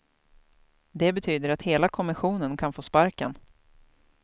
Det betyder att hela kommissionen kan få sparken.